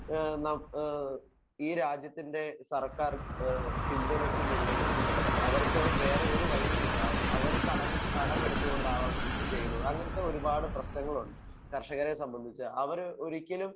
Speaker 1 ഏഹ് നം ഹ്മ് ഈ രാജ്യത്തിൻ്റെ സർക്കാർ ഏഹ് പിന്തുണക്കുന്നില്ലെങ്കിൽ അവർക്ക് വേറെ ഒരു വഴിയുമില്ല. അവര് കട കടമെടുത്തു കൊണ്ടാണ് അവർ കൃഷി ചെയ്യുന്നത്. അങ്ങനത്തെ ഒരുപാട് പ്രശ്നങ്ങളും കർഷകരെ സംബന്ധിച്ച് അവർ ഒരിക്കലും